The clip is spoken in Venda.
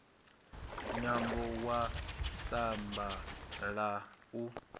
nwambo wa samba la u